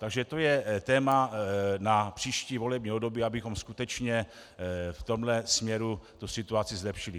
Takže to je téma na příští volební období, abychom skutečně v tomhle směru tu situaci zlepšili.